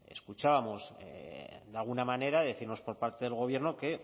escuchábamos de alguna manera decirnos por parte del gobierno que